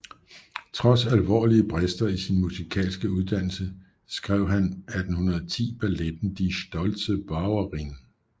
Trods alvorlige brister i sin musikalske uddannelse skrev han 1810 balletten Die stoltze Bäuerin